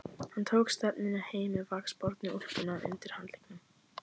Hann tók stefnuna heim með vaxbornu úlpuna undir handleggnum.